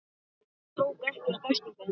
Ég tók ekkert eftir þeim.